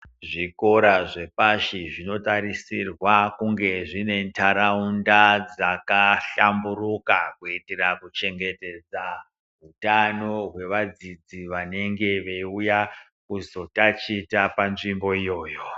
Zvikora zvepashi zvinotarisirwa kunge dzine ndaraunda dzakahlamburuka kuitira kuchengetedza utano hwevadzidzi vanenge veiuya kuzotachita panzvimbo iyoyo.